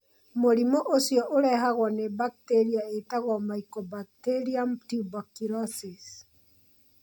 Mũrimũ ũcio ũrehagwo nĩ bakteria ĩtagwo Mycobacterium tuberculosis.